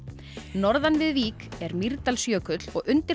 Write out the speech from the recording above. norðan við Vík er Mýrdalsjökull og undir